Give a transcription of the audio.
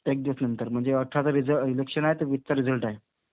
एक दिवस नंतर. म्हणजे अठराचा रिझ इलेक्शन आहे तर वीसचा रिझल्ट आहे.